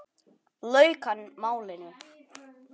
lauk hann málinu.